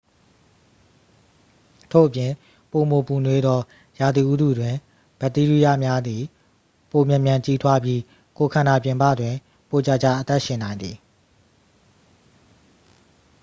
ထို့ပြင် ပိုမိုပူနွေးသော ရာသီဥတုတွင် ဘက်တီးရီးယားများသည် ပိုမြန်မြန် ကြီးထွားပြီး ကိုယ်ခန္ဓာပြင်ပတွင် ပိုကြာကြာ အသက်ရှင်နိုင်သည်